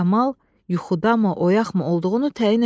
Kamal yuxudamı, oyaqmı olduğunu təyin edə bilmədi.